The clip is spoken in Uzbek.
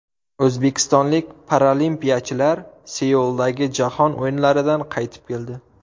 O‘zbekistonlik paralimpiyachilar Seuldagi Jahon o‘yinlaridan qaytib keldi.